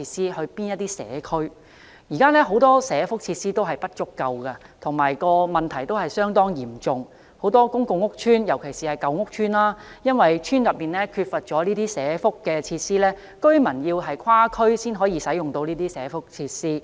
現時很多地區社福設施不足的問題相當嚴重，很多公共屋邨，尤其是舊屋邨，因為邨內缺乏社福設施，居民需要跨區才能享用社福設施。